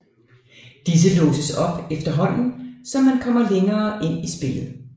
Disse låses op efterhånden som man kommer længere ind i spillet